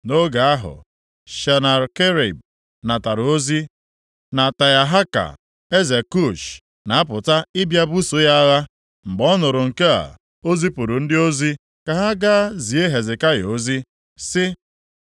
Nʼoge ahụ, Senakerib natara ozi na Tiahaka, eze Kush, na-apụta ịbịa ibuso ya agha. Mgbe ọ nụrụ nke a, o zipụrụ ndị ozi ka ha ga zie Hezekaya ozi, sị,